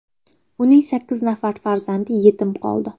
Uning sakkiz nafar farzandi yetim qoldi.